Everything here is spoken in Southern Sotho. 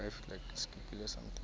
ha e le ho kgutlela